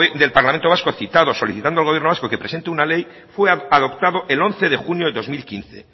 del parlamento vasco citado solicitando al gobierno vasco que presente una ley fue adoptado el once de junio de dos mil quince